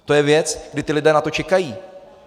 To je věc, kdy ti lidé na to čekají.